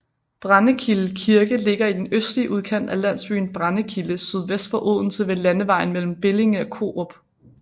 Brændekilde Kirke ligger i den østlige udkant af landsbyen Brændekilde sydvest for Odense ved landevejen mellem Bellinge og Korup